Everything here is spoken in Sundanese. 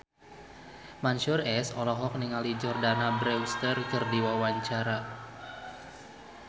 Mansyur S olohok ningali Jordana Brewster keur diwawancara